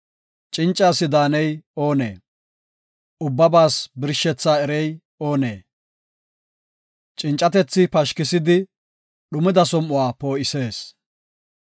Cinca asi daaney oonee? Ubbabaas birshethaa erey oonee? Cincatethi pashkisidi, dhumida som7uwa poo7isees.